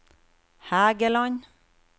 Hægeland